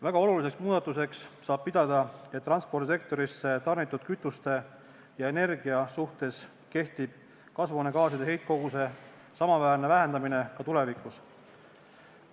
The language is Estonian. Väga oluliseks muudatuseks saab pidada, et transpordisektorisse tarnitud kütuste ja energia suhtes kehtib kasvuhoonegaaside heitkoguse samaväärne vähendamine ka tulevikus.